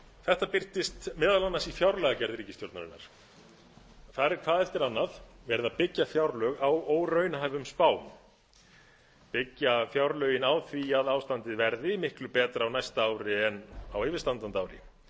þetta birtist meðal annars í fjárlagagerð ríkisstjórnarinnar þar er hvað eftir annað verið að byggja fjárlög á óraunhæfum spám byggja fjárlögin á því að ástandið verði miklu betra á næsta ári en á yfirstandandi ári